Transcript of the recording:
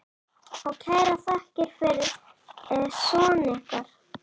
Og kærar þakkir fyrir son ykkar.